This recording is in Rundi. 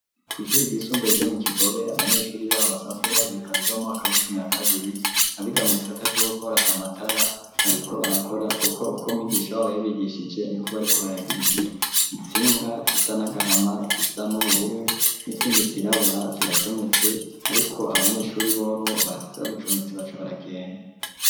ku ishuri ryisumbaye ryo mu Kigobe abanyeshuri baho basanzwe bahiga mu mwaka w'icumi na kabiri abiga mu gisata cugukora amatara bariko barakora kuko uko mwigisha babo yabigishije niko bariko baragira itnsinga zisa n'agahama izisa n'ubururu n'izindi zirabura ziracometse ariko abanyeshuri bobo basize babicometse baragenda.